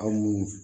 Aw mun